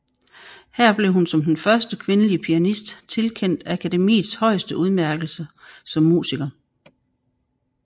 Her blev hun som den første kvindelige pianist tilkendt akademiets højeste udmærkelse som musiker